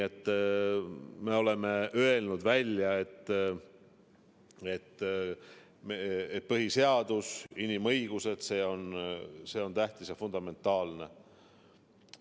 Me oleme välja öelnud, et põhiseadus ja inimõigused on tähtis ja fundamentaalne alus.